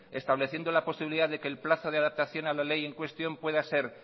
estableciendo la posibilidad de que el plazo de la adaptación a la ley en cuestión pueda ser